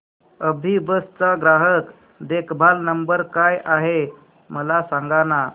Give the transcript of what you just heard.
अभिबस चा ग्राहक देखभाल नंबर काय आहे मला सांगाना